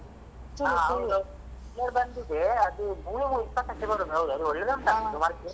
ಹಾ ಅದು ಬಂದಿದೆ ಅದು movie ಇಪ್ಪತ್ತಕ್ಕೆ ಬರುದು ಹೌದು ಅದು ಒಳ್ಳೆ ಉಂಟ ಅಂತ .